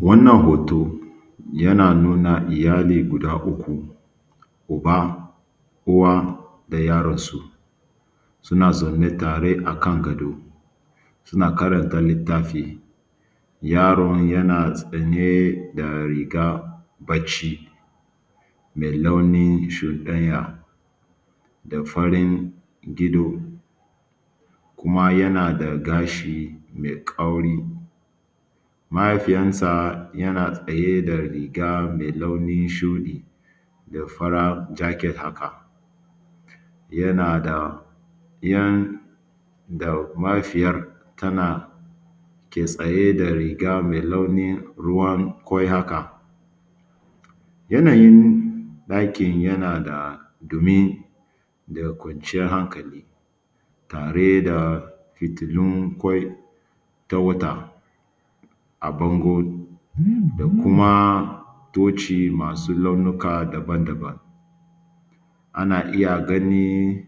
Wannan hoto yana nuna iyali guda uku, uba, uwa da yaransu, suna zaune tare akan gado suna karanta littafi. Yaron yana sanye da rigar barci mai launin shuɗanya da garin gido kuma yana da gashi mai kauri. Mahaifiyansa yana tsaye da riga mai launin shuɗi da fara jacket haka, yana da yan da mahaifiyar tana ke tsaye da riga mai launin ruwan ƙwai haka. Yanayin ɗakin yana da ɗumi da kwanciyar hankali tare da fitilun ƙwai ta wata a bango da kuma taci masu launuka daban-daban. Ana iya ganin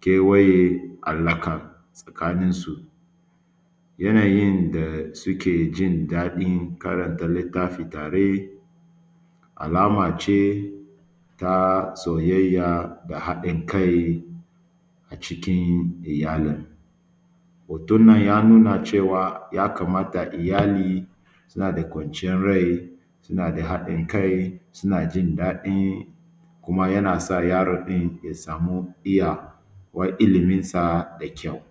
kewaya a laka tsakaninsu. Yanayin da suke jin daɗin karanta littafi tare alama ce ta soyayya da haɗin kai acikin iyalin. Hoton ya nuna cewa ya kamata a ce iyali suna da kwaciyar rai, suna da haɗin kai, suna jin daɗi, kuma yana sa yaron ɗin ya samu iyawa iliminsa da kyau.